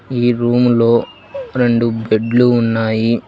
ఈ రూమ్ లో రెండు బెడ్లు ఉన్నాయి.